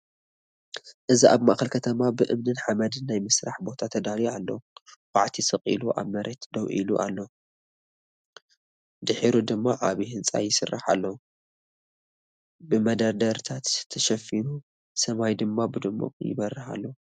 እዚ ኣብ ማእከል ከተማ ብእምንን ሓመድን ናይ ስራሕ ቦታ ተዳልዩ ኣሎ፤ ኳዕቲ ስቕ ኢሉ ኣብ መሬት ደው ኢሉ ኣሎ። ድሒሩ ድማ ዓቢ ህንጻ ይስራሕ ኣሎ፡ ብመደርደሪታት ተሸፊኑ፡ ሰማይ ድማ ብድሙቕ ይበርህ ኣሎ።